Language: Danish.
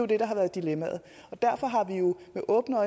det der har været dilemmaet derfor har vi med åbne